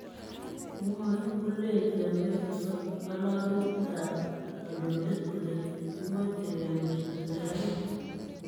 Mwae Gullen lembeita ngalalutik ab kandoindeet kole kikmoche kewirta serkalit